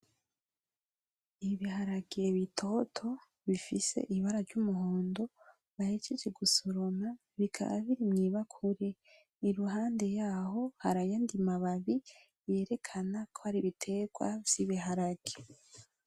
Ibiharage bitoto bifise ibara ryumuhondo bahejeje gusoroma, bikaba biri mwibakuri, iruhande yaho harayandi mababi yerekana ko ari ibiterwa vyibiharage.